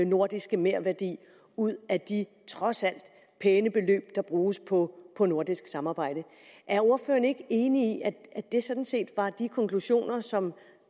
nordiske merværdi ud af de trods alt pæne beløb der bruges på på nordisk samarbejde er ordføreren ikke enig i at det sådan set var de konklusioner som